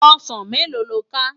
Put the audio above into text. Òsán méló ló ká?